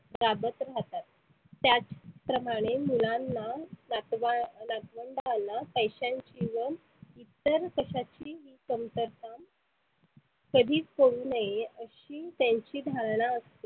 वागत राहतात. त्याच प्रमाणे मुलांना नातवा नातवंडांना पैशांची व इतर कशाची कमतरता कधीच पडु नए अशी त्यांची धारणा असते.